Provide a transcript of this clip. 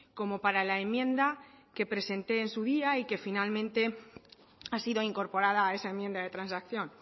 como para la enmienda que presenté en su día y que finalmente ha sido incorporada a esa enmienda de transacción